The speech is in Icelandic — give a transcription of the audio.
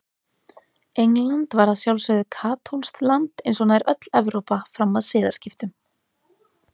England var að sjálfsögðu katólskt land eins og nær öll Evrópa fram að siðaskiptum.